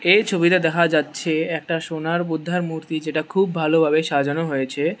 এই ছবিতে দেখা যাচ্ছে একটা সোনার বুদ্ধার মূর্তি যেটা খুব ভালোভাবে সাজানো হয়েছে।